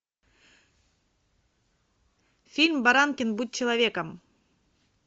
фильм баранкин будь человеком